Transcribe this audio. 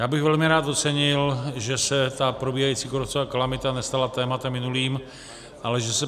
Já bych velmi rád ocenil, že se ta probíhající kůrovcová kalamita nestala tématem minulým, ale že se